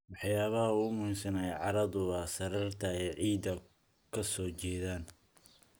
Waxyaabaha ugu muhiimsan ee carradu waa sariirta ay ciidda ka soo jeedaan.